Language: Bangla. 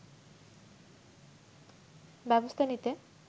ব্যবস্থা নিতে